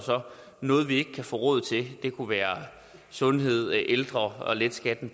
noget vi ikke kan få råd til det kunne være sundhed ældre og at lette skatten